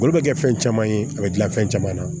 Olu bɛ kɛ fɛn caman ye a bɛ dilan fɛn caman na